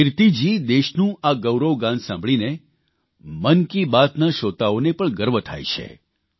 કિર્તીજી દેશનું આ ગૌરવ ગાન સાંભળીને મન કી બાતના શ્રોતાઓને પણ ગર્વ થાય છે